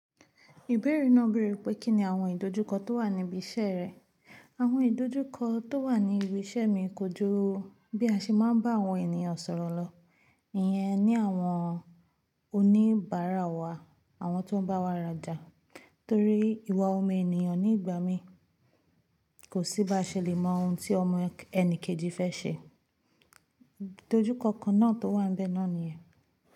Ìbéèrè náà béèrè pé kíni àwọn ìdojúkọ tó wà níbí iṣẹ́ rẹ̀. Àwọn ìdojúkọ tó wà ní ibi iṣẹ́ mi kojú bí a ṣe máa ń bá àwọn ènìyàn sọ̀rọ̀ lọ, ìyẹn ni àwọn oníbàárà wa, àwọn tó ń bá wa rajà torí ìwà ọmọ ènìyàn ní ìgbà mí kò sí bá a ṣe lè mọ ohun tí ọmọ ẹ̀ni kejì fẹ́ ṣe. Ìdojúkọ kan náà tó wà níbẹ̀ náà nìyẹn.